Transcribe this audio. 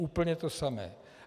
Úplně to samé.